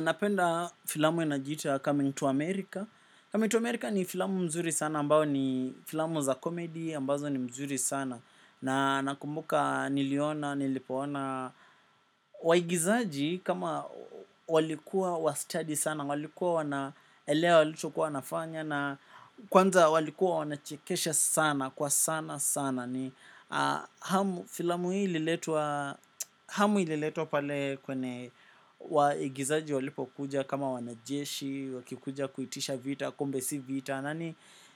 Napenda filamu inajiita Coming to America. Coming to America ni filamu mzuri sana ambao ni filamu za komedi ambazo ni mzuri sana. Na nakumbuka niliona nilipoona. Waigizaji kama walikuwa wastadi sana, walikuwa wanaelewa walichokuwa wanafanya na kwanza walikuwa wanachekesha sana kwa sana sana. Na ni, filamu hii ililetwa, hamu ililetwa pale kwene waigizaji walipokuja kama wanajeshi, wakikuja kuitisha vita, kumbe si vita.